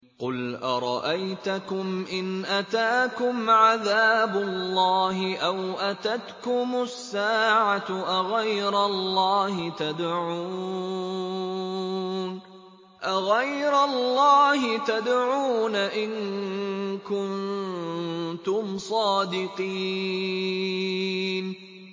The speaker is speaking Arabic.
قُلْ أَرَأَيْتَكُمْ إِنْ أَتَاكُمْ عَذَابُ اللَّهِ أَوْ أَتَتْكُمُ السَّاعَةُ أَغَيْرَ اللَّهِ تَدْعُونَ إِن كُنتُمْ صَادِقِينَ